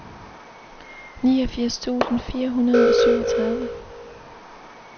niogfirs tusind fire hundrede og syvogtredive